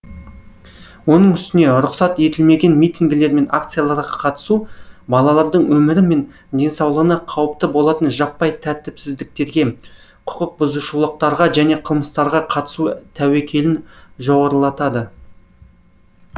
оның үстіне рұқсат етілмеген митингілер мен акцияларға қатысу балалардың өмірі мен денсаулығына қауіпті болатын жаппай тәртіпсіздіктерге құқық бұзушылықтарға және қылмыстарға қатысуы тәуекелін жоғарылатады